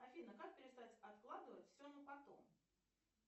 афина как перестать откладывать все на потом